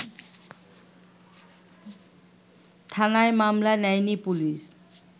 থানায় মামলা নেয়নি পুলিশ